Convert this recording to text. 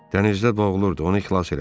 "Dənizdə boğulurdu, onu xilas elədik."